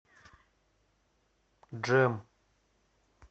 джем